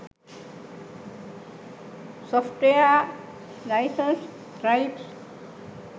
software license types